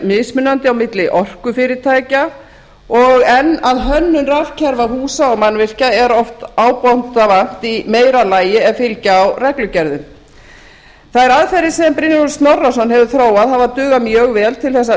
mismunandi á milli orkufyrirtækja og enn að hönnun rafkerfa húsa og mannvirkja er oft ábótavant í meira lagi ef fylgja á reglugerðum þær aðferðir sem brynjólfur snorrason hefur þróað hafa dugað mjög vel til